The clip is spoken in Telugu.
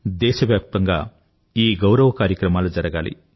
దేశవ్యాప్తంగా ఈ గౌరవ కార్యక్రమాలు జరగాలి